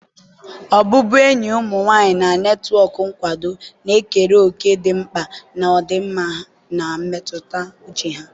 ọbụbụenyi ụmụ nwanyị na netwọk nkwado na-ekere òkè dị mkpa na ọdịmma mmetụta uche ha.